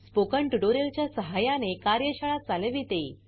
spoken tutorial च्या सहाय्याने कार्यशाळा चालविते